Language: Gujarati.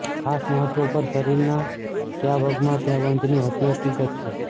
ખાસ મહત્વ પર શરીરના કયા ભાગમાં ત્યાં બંધની હતી હકીકત છે